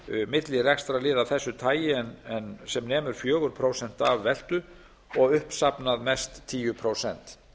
milli rekstrarliða af þessu tagi en sem nemur fjögur prósent af veltu og uppsafnað mest tíu prósent